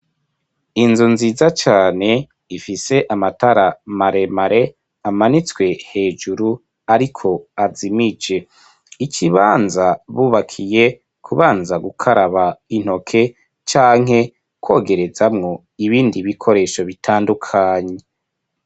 Inzu nziza cane ifise amatara maremare amanitswe hejuru ariko azimije ikibanza bubakiye kubanza gukaraba intoke canke kogerezamwo ibindi bikoresho bitandukanye.